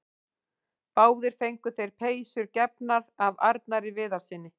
Báðir fengu þeir peysur gefnar af Arnari Viðarssyni.